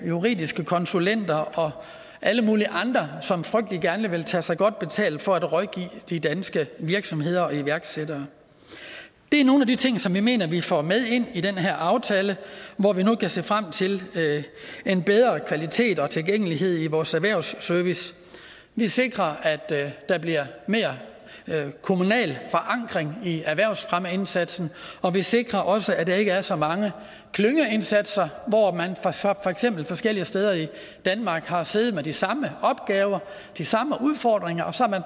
og juridiske konsulenter og alle mulige andre som frygtelig gerne vil tage sig godt betalt for at rådgive de danske virksomheder og iværksættere det er nogle af de ting som vi mener vi får med ind i den her aftale hvor vi nu kan se frem til en bedre kvalitet og tilgængelighed i vores erhvervsservice vi sikrer at der bliver mere kommunal forankring i erhvervsfremmeindsatsen og vi sikrer også at der ikke er så mange klyngeindsatser hvor man forskellige steder i danmark har siddet med de samme opgaver de samme udfordringer og så